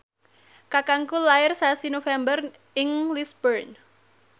kakangku lair sasi November ing Lisburn